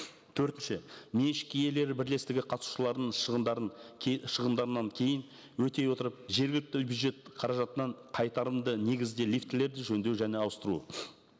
төртінші меншік иелері бірлестігі қатысушыларының шығындарын шығындарынан кейін өтей отырып жергілікті бюджет қаражатынан қайтарымды негізде лифтілерді жөндеу және ауыстыру